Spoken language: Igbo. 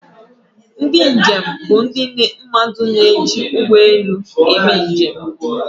Ndị njem bụ ndị mmadụ na-eji ụgbọ elu eme njem.